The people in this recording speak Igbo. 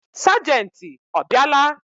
Sagenti ọ bịa la?